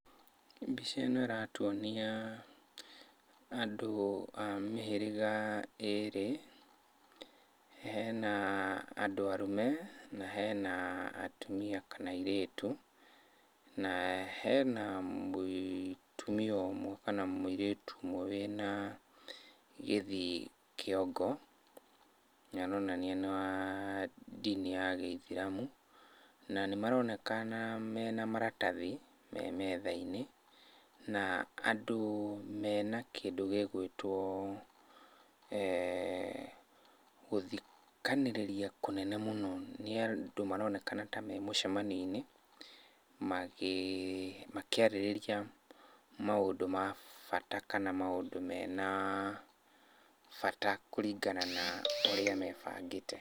Mbica ĩno ĩratuonia, andũ a mĩhĩrĩga, ĩrĩ. Hena andũ arũme, na hena atumia kana airĩtu, na hena mũtumia ũmwe kana mũirĩtu ũmwe wĩna gĩthii kĩongo, nĩaronania nĩ wa ndini ya gĩithĩramu. Na nĩmaronekana mena maratathi me metha-inĩ, na andũ mena kĩndũ gĩgũĩtwo gũthikanĩrĩria kũnene mũno nĩ andũ maronekana ta me mũcemanio-inĩ, makĩarĩrĩria maũndũ ma bata kana maũndũ mena bata kũringana na ũrĩa mebangĩte.